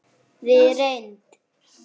Við reynd